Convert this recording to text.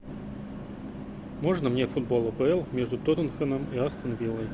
можно мне футбол апл между тоттенхэмом и астон виллой